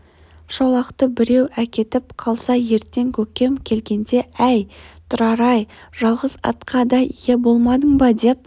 шолақты біреу әкетіп қалса ертең көкем келгенде әй тұрар-ай жалғыз атқа да ие болмадың ба деп